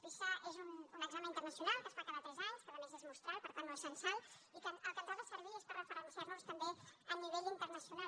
pisa és un examen internacional que es fa cada tres anys que a més és mostral per tant no és censal i que per al que ens ha de servir és per referenciar nos també a nivell internacional